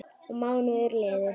Og mánuðir liðu.